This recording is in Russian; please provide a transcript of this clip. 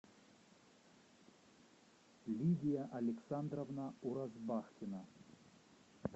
лидия александровна уразбахтина